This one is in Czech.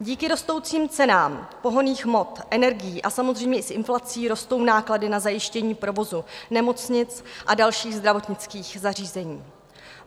Díky rostoucím cenám pohonných hmot, energií a samozřejmě i s inflací rostou náklady na zajištění provozu nemocnic a dalších zdravotnických zařízení.